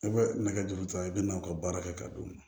I bɛ nɛgɛ juru ta i bɛ n'aw ka baara kɛ ka d'u ma